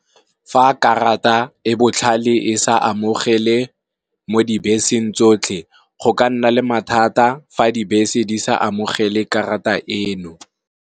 Fa karata e botlhale e sa amogele mo dibeseng tsotlhe, go ka nna le mathata fa dibese di sa amogele karata eno.